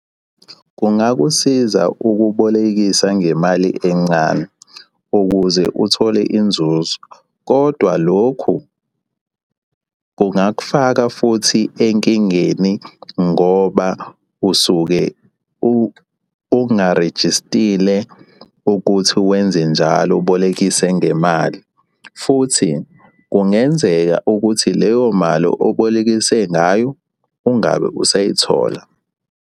Kungakusiza ukubolekisa ngemali encane ukuze uthole inzuzo, kodwa lokhu kungakufaka futhi enkingeni ngoba usuke ungarejistile ukuthi wenze njalo ubolekise ngemali, futhi kungenzeka ukuthi leyo mali obolekise ngayo ungabe usayithola.